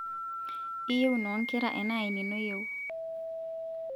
iyeu inokera enaa enino iyieu